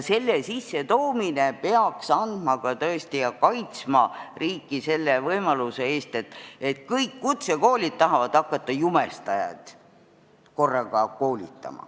Selle sissetoomine peaks tõesti kaitsma riiki selle võimaluse eest, et kõik kutsekoolid tahavad näiteks korraga hakata jumestajaid koolitama.